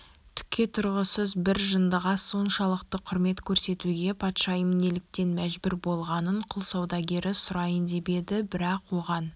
түкке тұрғысыз бір жындыға соншалықты құрмет көрсетуге патшайым неліктен мәжбүр болғанын құл саудагері сұрайын деп еді бірақ оған